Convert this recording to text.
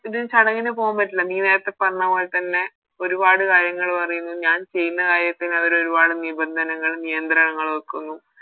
ഇത് ചടങ്ങിന് പോകാൻ പറ്റില്ല നീ നേരത്തെ പറഞ്ഞ പോലെ തന്നെ ഒരുപാട് കാര്യങ്ങള് പറയുന്നു ഞാൻ ചെയ്യുന്ന കാര്യത്തിന് അവര് ഒരുപാട് നിപന്തങ്ങളും നിയന്ത്രണങ്ങളും വെക്കുന്നു